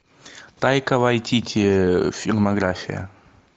тайка вайтити фильмография